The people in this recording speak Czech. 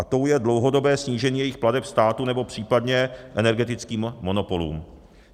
A tou je dlouhodobé snížení jejich plateb státu nebo případně energetickým monopolům.